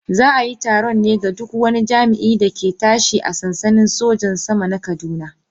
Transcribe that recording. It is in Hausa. Za a yi taron ne ga duk wani jami'in da ke tashi a sansanin sojojin sama na kaduna.